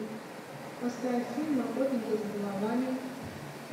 поставь фильм охотники за головами